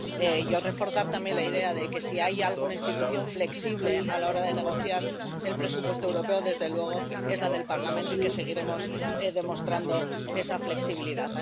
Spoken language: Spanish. Yo quisiera reforzar también la idea de que, si hay alguna institución flexible a la hora de negociar el presupuesto europeo, desde luego esa es el Parlamento, y que seguiremos demostrando esa flexibilidad.